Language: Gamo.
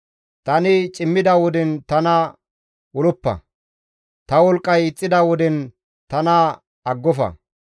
Tani cimmida woden tana oloppa; ta wolqqay ixxida woden tana aggofa.